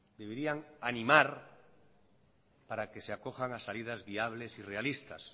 deberían animar para que se acojan a salidas viables y realistas